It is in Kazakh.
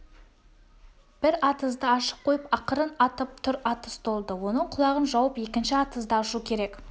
бір атызды ашып қойып ақырын атып тұр атыз толды оның құлағын жауып екінші атызды ашу керек